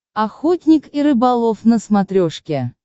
охотник и рыболов на смотрешке